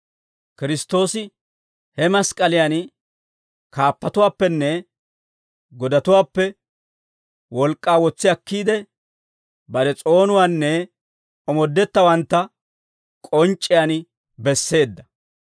Kiristtoosi he mask'k'aliyan kaappatuwaappenne godatuwaappe wolk'k'aa wotsi akkiide, bare s'oonuwaanne omoodetteeddawantta k'onc'c'iyaan besseedda.